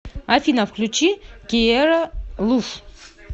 афина включи киера луф